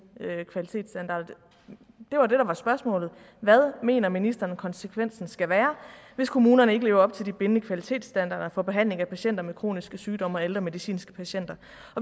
kvalitetsstandarder det var det der var spørgsmålet hvad mener ministeren konsekvensen skal være hvis kommunerne ikke lever op til de bindende kvalitetsstandarder for behandling af patienter med kroniske sygdomme og af ældre medicinske patienter